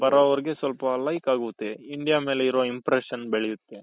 ಬರೋರ್ಗೆ ಸ್ವಲ್ಪ like ಆಗುತ್ತೆ India ಮೇಲೆ ಇರೋ impression ಬೆಳಿಯುತ್ತೇ